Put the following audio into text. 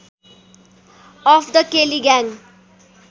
of the Kelly gang